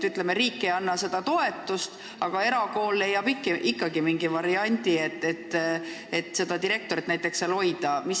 Ütleme, et riik ei anna seda toetust, aga erakool leiab ikkagi mingi variandi, et konkreetset direktorit ametis hoida.